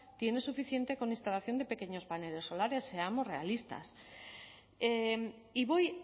tiene suficiente con instalación de pequeños paneles solares seamos realistas y voy